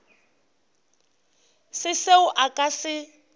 se seo a ka se